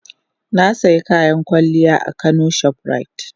Na sayi kayan kwalliya a kano shoprite.